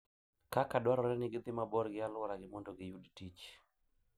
kaka dwarore ni gidhi mabor gi alworagi mondo giyud tich.